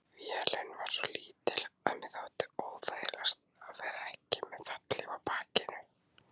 Vélin var svo lítil að mér þótti óþægilegast að vera ekki með fallhlíf á bakinu.